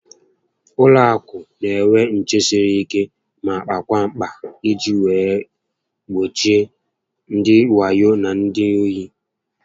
Ụlọ akụ n'enwe nché siri ike ma kpakwaa mkpa iji wee gbochie ndị wayo na ndị ohu